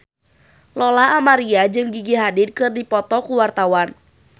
Lola Amaria jeung Gigi Hadid keur dipoto ku wartawan